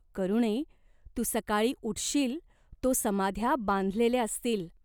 करुणे, तु सकाळी उठशील तो समाध्या बांधलेल्या असतील.